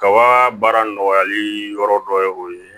Kaba baara nɔgɔyali yɔrɔ dɔ ye o ye